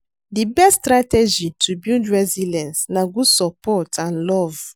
Di best strategy to build resilience na good support and love.